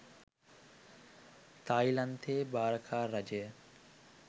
තායිලන්තයේ භාරකාර රජය